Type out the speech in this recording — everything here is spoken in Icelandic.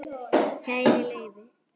Kæri Leifi,